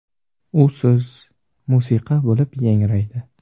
U so‘z musiqa bo‘lib yangraydi.